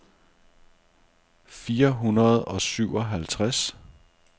fire hundrede og syvoghalvtreds